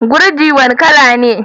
Gurji wane kala ne?